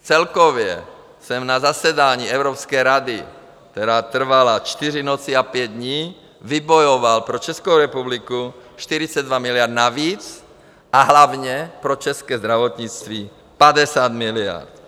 Celkově jsem na zasedání Evropské rady, která trvala čtyři noci a pět dní, vybojoval pro Českou republiku 42 miliard navíc a hlavně pro české zdravotnictví 50 miliard.